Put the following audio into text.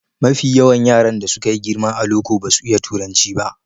Mafi yawan yaran da suka yi girma a loko basu iya turanci ba.